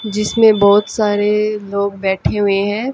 जिसमें बहोत सारे लोग बैठे हुए हैं।